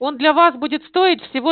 он для вас будет стоить всего